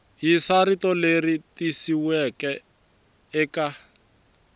yisa rito leri tikisiweke eka